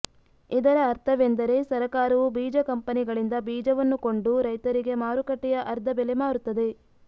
ಇದರ ಅರ್ಥವೆಂದರೆ ಸರಕಾರವು ಬೀಜ ಕಂಪೆನಿಗಳಿಂದ ಬೀಜವನ್ನು ಕೊಂಡು ರೈತರಿಗೆ ಮಾರುಕಟ್ಟೆಯ ಅರ್ದ ಬೆಲೆ ಮಾರುತ್ತದೆ